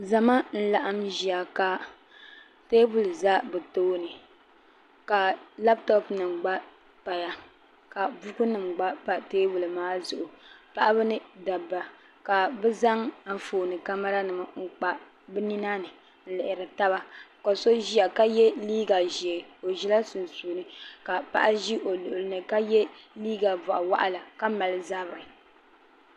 zama n laɣam ʒiya ka teebuli ʒɛ bi tooni ka labtop nim gba paya ka buku nim gba pa teebuli maa zuɣu paɣaba ni dabba ka bi zaŋ Anfooni kamɛra nima kpa bi nina ni n lihiri taba ka so ʒiya ka yɛ liiga ʒiɛ o ʒila sunsuuni ka paɣa ʒi o luɣuli ni ka yɛ liiga boɣa waɣala ka mali zabiri